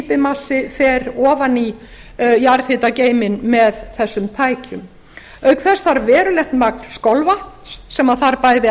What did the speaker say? efni slípimassi fer ofan í jarðhitageyminn með þessum tækjum auk þess var verulegt magn skolvatns sem þarf bæði